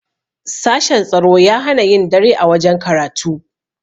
sashen tsaro ya hana yin dare a wajen karatu